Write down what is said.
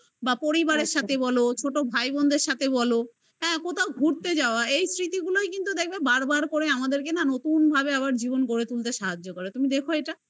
বা পরিবারের সাথে বলো বা ছোট ভাইবোনদের সাথে বলো কথাও ঘুরতে যাওয়া